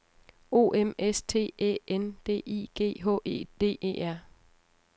O M S T Æ N D I G H E D E R